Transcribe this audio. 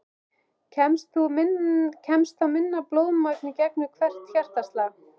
Kemst þá minna blóðmagn í gegn við hvert hjartaslag.